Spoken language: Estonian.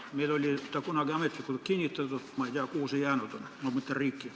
Meil oli see kunagi ametlikult kinnitatud, ma ei tea, kuhu see jäänud on – ma mõtlen meie riiki.